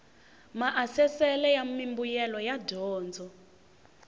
maasesele ya mimbuyelo ya dyondzo